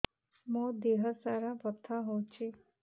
ମୋ ଦିହସାରା ବଥା ହଉଚି